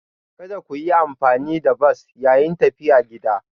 Kada ku yi amfani da bas yayin tafiya gida.